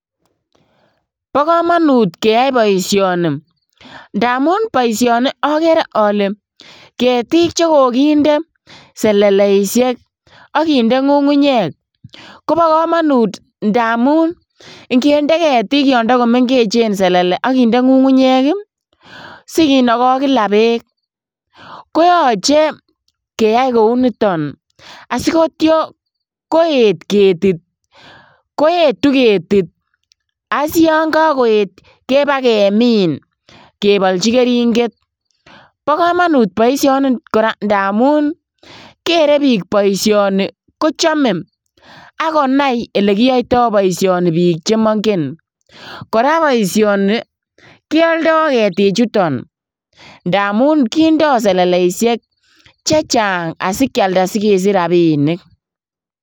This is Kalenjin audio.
Bokomonut keyai boisioni ndamun boisioni okeree ole ketik chekokinde seleleisiek ak kinde ngungunyek, kobokomonut ndamun ikinde ketik yon tokomengechen selele ak kinde ngungunyek ii si kinokon kila beek koyoche keyai kouniton asiitio koet ketit, koetu ketit ak yon kokoet kebaa kemin kebolchi keringet, bokomonut boisioni koraa ndamun kere bik boisioni kochome ak konai elekiyoito boisioni bik chemongen, koraa boisioniton kioldo ketichuton ndamun kindo seleleisiek chechang asikialda asikesich rabinik.